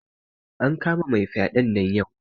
An kama mai fyaɗen nan yau